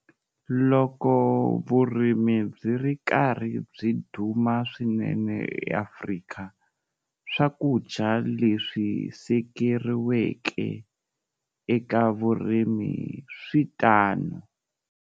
Loko vurimi byi ri karhi byi duma swinene eAfrika, swakudya leswi sekeriweke eka vurimi swi tano.